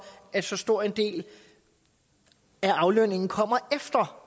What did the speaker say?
at så stor en del af aflønningen kommer efter